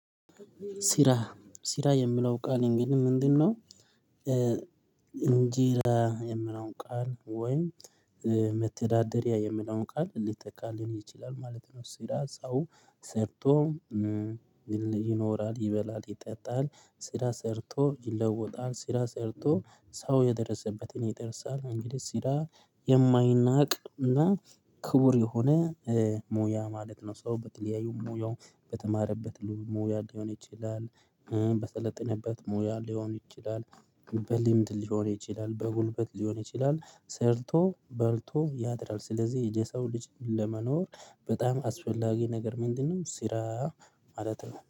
ሰራ ሰራ የሚለው ቃል እንግዲህ ምንድነው? እንጀራ የሚለው ቃል ወይም መተዳደሪያ የሚለውን ቃል ሊተካልን ይችላል ማለት ነው። ስራ ሰርቶ ይኖራል ይበላል ይጠጣል ስራ ሰርቶ ይለወጣል ስራ ሰርቶ ሰው የደረሰበትን ይደርሳል እንግዲህ ስራ የማይናቅና ክቡር የሆነ ሙያ ማለት ነው። ሰው በተለያዩ ሙያ በተማረበት ሙያ ሊሆን ይችላል በሰለጠነበት ሙያ ሊሆን ይችላል በልምድ ሊሆን ይችላል በጉልበት ሊሆን ይችላል ሰርቶ በልቶ ያድራል። ስለዚህ የሰው ልጅ ለመኖር በጣም አስፈላጊ ነገር ምንድ ነው ስራ ማለት ነው